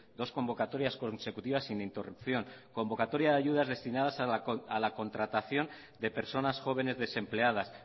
dos convocatorias consecutivas sin interrupción convocatoria de ayudas destinadas a la contratación de personas jóvenes desempleadas